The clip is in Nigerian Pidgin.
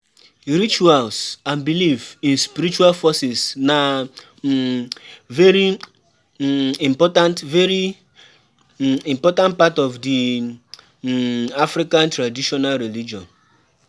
Rituals and belief in spiritual forces na um very um important very um important part of di um African Traditional Religion